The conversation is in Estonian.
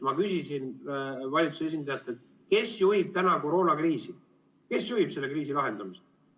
Ma küsisin valitsuse esindajatelt: kes juhib praegu koroonakriisi lahendamist?